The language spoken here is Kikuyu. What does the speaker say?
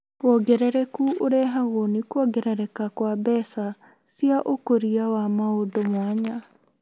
Wongerereku ũrehagwo nĩ kuongerereka wa mbeca cia ũkũria wa maũndũ mwanya